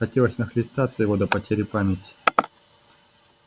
хотелось нахлестаться его до потери памяти